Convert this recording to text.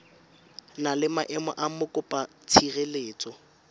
na le maemo a mokopatshireletso